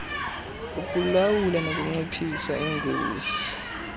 ukulawula nokunciphisa ingozi